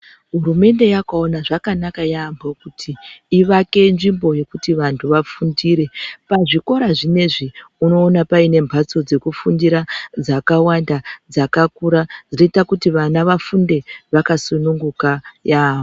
Hurumende yakaona zvakanaka yaampho kuti ivake nzvimbo yokuti vantu vafundire. Pazvikora zvineizvi unoona paine mphatso dzekufundira dzakawanda, dzakakura dzinoita kuti vana vafunde vakasununguka yaampho.